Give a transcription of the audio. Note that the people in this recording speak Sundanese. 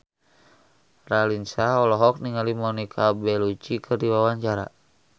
Raline Shah olohok ningali Monica Belluci keur diwawancara